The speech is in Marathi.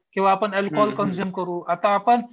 किंवा आपण अल्कोहोल कन्झ्युम करू आता आपण